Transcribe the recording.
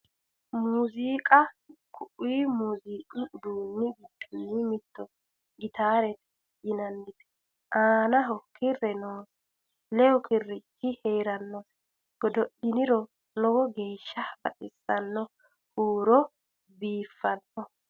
muziiiqa kui muziiqu uduunnni giddonni mittoho gitaarete yinannite aanaho kirre noose lewu kirichi heerannose godo'liniro lowo geeshsha baxissanno huurono biiffanno